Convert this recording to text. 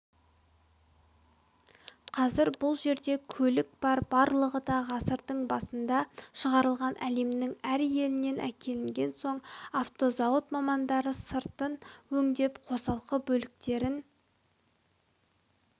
қазір бұл жерде көлік бар барлығы да ғасырдың басында шығарылған әлемнің әр елінен әкелінген соң автозауыт мамандары сыртын өңдеп қосалқы бөлшектерін